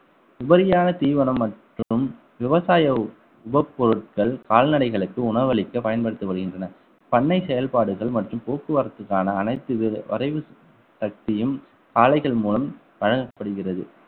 உபரியான தீவனம் மற்றும் விவசாய உபபொருட்கள் கால்நடைகளுக்கு உணவளிக்க பயன்படுத்தி வருகின்றனர் பண்ணை செயல்பாடுகள் மற்றும் போக்குவரத்துக்கான அனைத்து வி~ வரைவு தட்டியும் ஆலைகள் மூலம் வழங்கப்படுகிறது